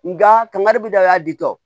Nga kangari bi da y'a di